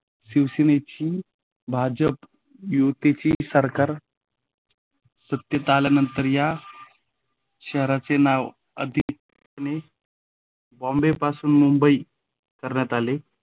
शिवसेनेची भाजप युतीची सरकार सत्तेत आल्यानंतर या शहराचे नाव बॉम्बे पासून मुंबई करण्यात आली.